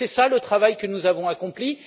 C'est là le travail que nous avons accompli.